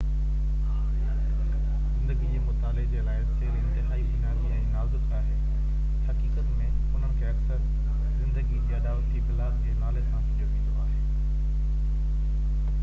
زندگي جي مطالعي جي لاءِ سيل انتهائي بنيادي ۽ نازڪ آهن حقيقت ۾ انهن کي اڪثر زندگي جي اڏاوتي بلاڪ جي نالي سان سڏيو ويندو آهي